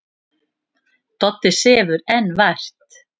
Doddi sefur enn vært.